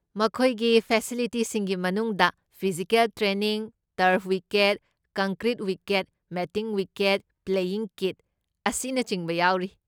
ꯃꯈꯣꯏꯒꯤ ꯐꯦꯁꯤꯂꯤꯇꯤꯁꯤꯡꯒꯤ ꯃꯅꯨꯡꯗ physical training, turf wicket, concrete wicket, matting wicket, playing kit ꯑꯁꯤꯅꯆꯤꯡꯕ ꯌꯥꯎꯔꯤ꯫